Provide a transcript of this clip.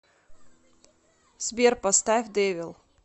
сбер поставь дэвил